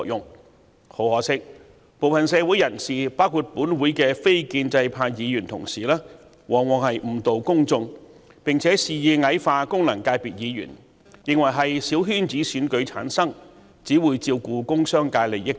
但很可惜，部分社會人士包括本會的非建制派議員往往誤導公眾，並且肆意矮化功能界別議員，認為他們由小圈子選舉產生及只會照顧工商界利益等。